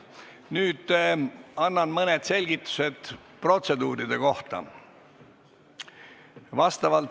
Nüüd annan mõned selgitused protseduuride kohta.